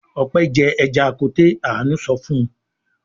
"Ope jẹ ẹja koté!!" Àánú sọ fún un.